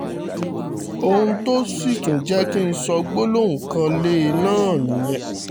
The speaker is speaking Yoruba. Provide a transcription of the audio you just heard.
ohun tó sì tún jẹ́ kì í ń sọ gbólóhùn kan lé e náà nìyẹn